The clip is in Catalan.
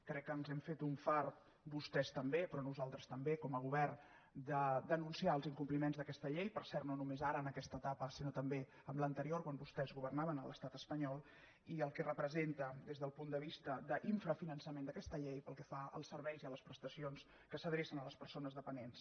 crec que ens hem fet un fart vostès també però nosaltres també com a govern de denunciar els incompliments d’aquesta llei per cert no només ara en aquesta etapa sinó també en l’anterior quan vostès governaven a l’estat espanyol i el que representa des del punt de vista d’infrafinançament d’aquesta llei pel que fa als serveis i a les prestacions que s’adrecen a les persones dependents